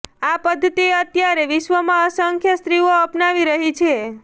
આ પદ્ધતિ અત્યારે વિશ્વમાં અસંખ્ય સ્ત્રીઓ અપનાવી રહી છે